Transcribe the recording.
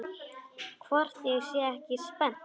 Hvort ég sé ekki spennt?